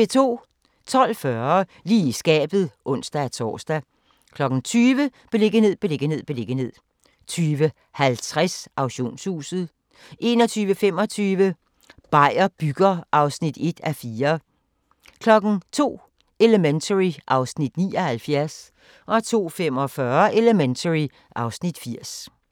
12:40: Lige i skabet (ons-tor) 20:00: Beliggenhed, beliggenhed, beliggenhed 20:50: Auktionshuset 21:25: Beier bygger (1:4) 02:00: Elementary (Afs. 79) 02:45: Elementary (Afs. 80)